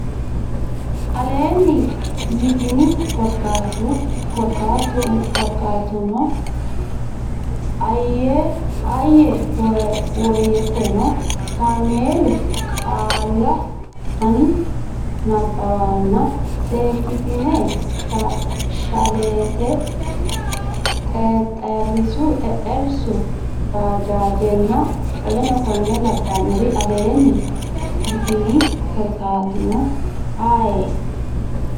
aleenni yitini Korkaatuno ayee woteno kaameelu qaalla ani nabbawanna seekkitine shalleette xexxerrisu baajaajenna w k l aleenni yitini Korkaatuno ayee.